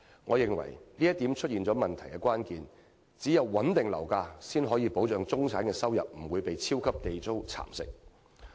我認為這話點出了問題的關鍵：唯有穩定樓價，才可保障中產的收入不會被"超級地租"蠶食。